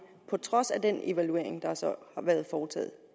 på trods af den evaluering der så har været foretaget